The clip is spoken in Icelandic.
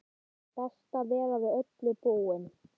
Best að vera við öllu búinn!